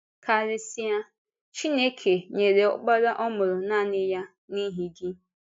Kárịsịa, Chineke “nyere Ọkpara ọ mụrụ nanị ya” n’ihi gị.